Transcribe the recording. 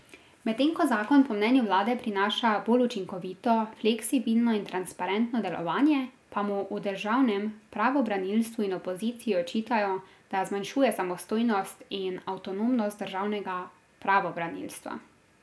Medtem ko zakon po mnenju vlade prinaša bolj učinkovito, fleksibilno in transparentno delovanje, pa mu v državnem pravobranilstvu in opoziciji očitajo, da zmanjšuje samostojnost in avtonomnost državnega pravobranilstva.